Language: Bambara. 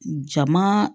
Jama